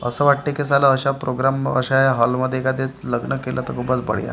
असं वाटतंय की साला अशा प्रोग्राम अशा या हॉलमध्ये एखाद्या लग्न केलं तर खूपच बढिया .